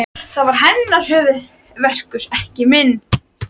Það var hennar höfuðverkur, ekki minn.